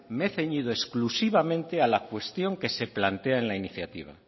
me he ceñido exclusivamente a la cuestión que se plantea en la iniciativa